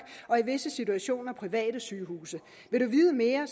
og i visse situationer private sygehuse vil du vide mere